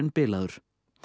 bilaður